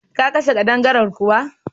Ka kashe ƙadangaren kuwa?